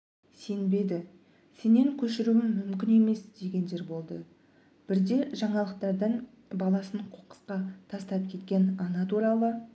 сенбеді сенен көшіруі мүмкін емес дегендер болды бірде жаңалықтардан баласын қоқысқа тастап кеткен ана туралы